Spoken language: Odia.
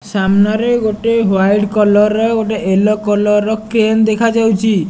ସାମ୍ନାରେ ଗୋଟେ ହ୍ୱାଇଟ୍ କଲର୍ ର ଗୋଟେ ୟେଲୋ କଲର୍ ର କେନ୍ ଦେଖାଯାଉଚି।